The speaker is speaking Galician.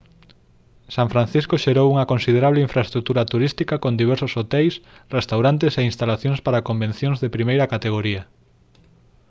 san francisco xerou unha considerable infraestrutura turística con diversos hoteis restaurantes e instalacións para convencións de primeira categoría